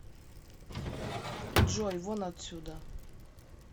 джой вон отсюда